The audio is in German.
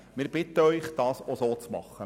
Wir bitten Sie, dies auch so zu tun.